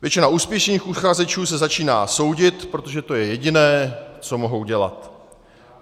Většina úspěšných uchazečů se začíná soudit, protože to je jediné, co mohou dělat.